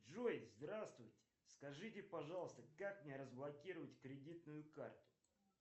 джой здравствуйте скажите пожалуйста как мне разблокировать кредитную карту